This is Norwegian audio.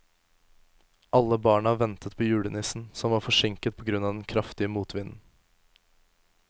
Alle barna ventet på julenissen, som var forsinket på grunn av den kraftige motvinden.